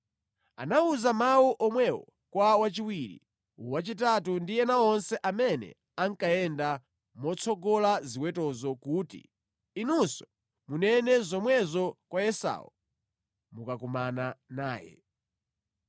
Anawuza mawu omwewo kwa wachiwiri, wachitatu ndi ena onse amene ankayenda motsogoza ziwetozo kuti, “Inunso munene zomwezo kwa Esau mukakumana naye.